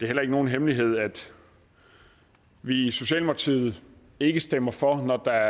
heller ikke nogen hemmelighed at vi i socialdemokratiet ikke stemmer for når der